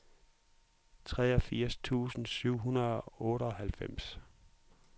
treogfirs tusind syv hundrede og otteoghalvfems